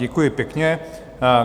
Děkuji pěkně.